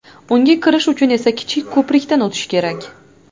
Unga kirish uchun esa kichik ko‘prikdan o‘tish kerak.